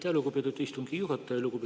Aitäh, lugupeetud istungi juhataja!